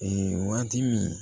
Ee waati min